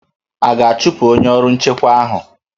A ga-achụpụ onye ọrụ nchekwa ahụ?